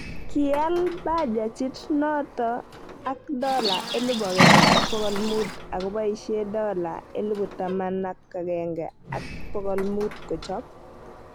Kial bajajiit noto ak dola 1500 akoboishe dola 11500 kochob